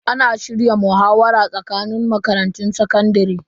Ana shirya muhawara tsakanin makarantun sakandare.